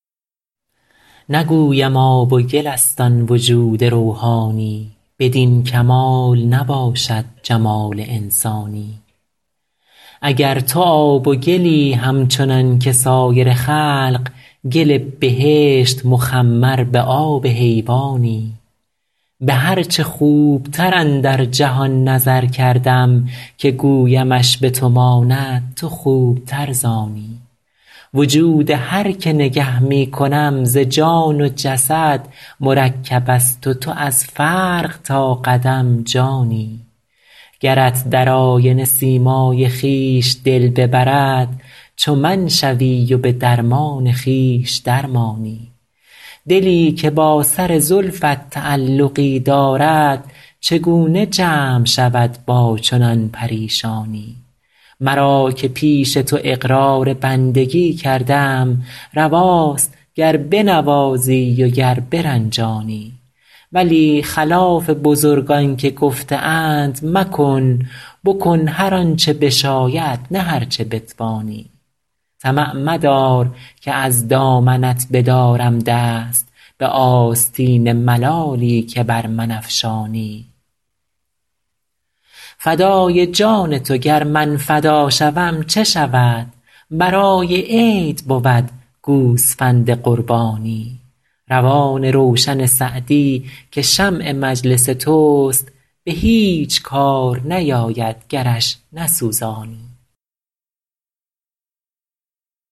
نگویم آب و گل است آن وجود روحانی بدین کمال نباشد جمال انسانی اگر تو آب و گلی همچنان که سایر خلق گل بهشت مخمر به آب حیوانی به هر چه خوبتر اندر جهان نظر کردم که گویمش به تو ماند تو خوبتر ز آنی وجود هر که نگه می کنم ز جان و جسد مرکب است و تو از فرق تا قدم جانی گرت در آینه سیمای خویش دل ببرد چو من شوی و به درمان خویش در مانی دلی که با سر زلفت تعلقی دارد چگونه جمع شود با چنان پریشانی مرا که پیش تو اقرار بندگی کردم رواست گر بنوازی و گر برنجانی ولی خلاف بزرگان که گفته اند مکن بکن هر آن چه بشاید نه هر چه بتوانی طمع مدار که از دامنت بدارم دست به آستین ملالی که بر من افشانی فدای جان تو گر من فدا شوم چه شود برای عید بود گوسفند قربانی روان روشن سعدی که شمع مجلس توست به هیچ کار نیاید گرش نسوزانی